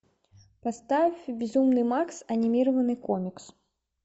поставь безумный макс анимированный комикс